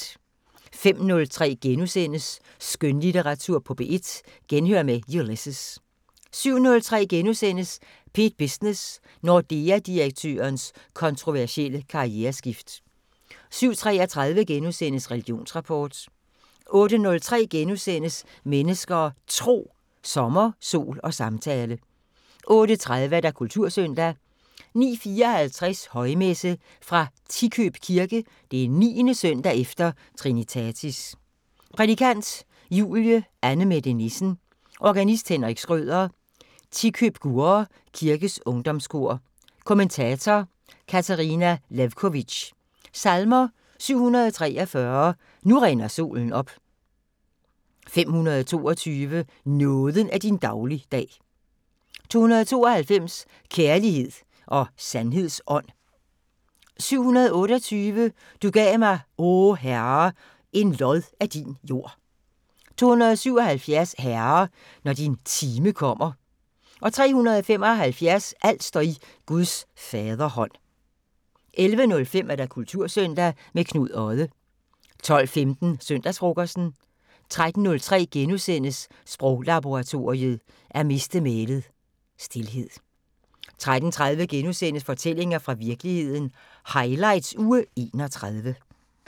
05:03: Skønlitteratur på P1: Genhør med Ulysses * 07:03: P1 Business: Nordea-direktørens kontroversielle karriereskift * 07:33: Religionsrapport * 08:03: Mennesker og Tro: Sommer, sol og samtale * 08:30: Kultursøndag 09:54: Højmesse - Fra Tikøb kirke. 9. søndag efter trinitatis. Prædikant: Julie Annemette Nissen. Organist: Henrik Schrøder. Tikøb-Gurre kirkers ungdomskor. Kommentator: Katarina Lewkovitch. Salmer: 743: "Nu rinder solen op". 522: "Nåden er din dagligdag". 292: "Kærlighed og sandheds ånd". 728: "Du gav mig, o Herre, en lod af din jord". 277: "Herre, når din time kommer". 375: "Alt står i Guds faderhånd". 11:05: Kultursøndag – med Knud Odde 12:15: Søndagsfrokosten 13:03: Sproglaboratoriet: At miste mælet – Stilhed * 13:30: Fortællinger fra virkeligheden – highlights uge 31 *